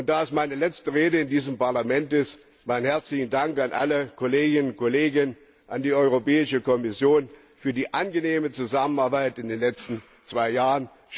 Da es meine letzte Rede in diesem Parlament ist, meinen herzlichen Dank an alle Kolleginnen und Kollegen, an die Europäische Kommission für die angenehme Zusammenarbeit in den letzten zwei Jahren.